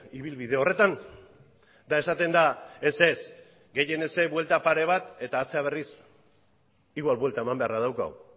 ibilbide horretan eta esaten da ez ez gehienez buelta pare bat eta atzera berriz igual buelta eman beharra daukagu